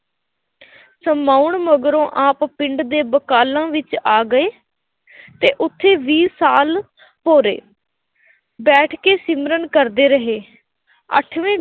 ਸਮਾਉਣ ਮਗਰੋਂ ਆਪ ਪਿੰਡ ਦੇ ਬਕਾਲਾ ਵਿੱਚ ਆ ਗਏ ਅਤੇ ਉੱਥੇ ਵੀਹ ਸਾਲ ਭੋਰੇ ਬੈਠ ਕੇ ਸਿਮਰਨ ਕਰਦੇ ਰਹੇ। ਅੱਠਵੇਂ